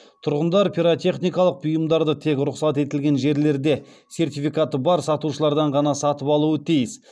тұрғындар пиротехникалық бұйымдарды тек рұқсат етілген жерлерде сертификаты бар сатушылардан ғана сатып алуы тиіс